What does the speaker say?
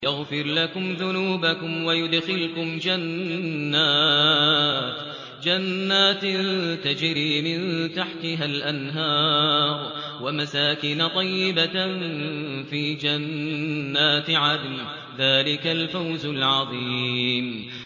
يَغْفِرْ لَكُمْ ذُنُوبَكُمْ وَيُدْخِلْكُمْ جَنَّاتٍ تَجْرِي مِن تَحْتِهَا الْأَنْهَارُ وَمَسَاكِنَ طَيِّبَةً فِي جَنَّاتِ عَدْنٍ ۚ ذَٰلِكَ الْفَوْزُ الْعَظِيمُ